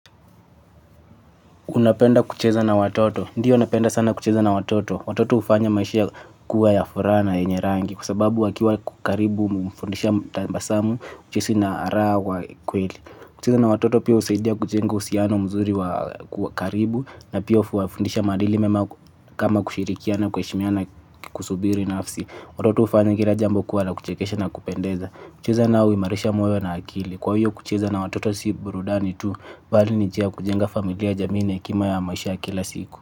Unapenda kucheza na watoto. Ndiyo napenda sana kucheza na watoto. Watoto hufanya maishia kuwa ya furaha na yenye rangi kwa sababu wakiwa karibu mfundisha tabasamu ucheshi na arawa kweli. Kucheza na watoto pia husaidia kujenga uhusiano mzuri wa karibu na pia huwafundisha maadili mema kama kushirikiana kuheshimiana na kusubiri nafsi. Watoto hufanya kila jambo kuwa la kuchekesha na kupendeza. Kucheza nao huimarisha moyo na akili. Kwa hiyo kucheza na watoto si burudani tu bali ni njia ya kujenga familia jamii na hekima ya maisha ya kila siku.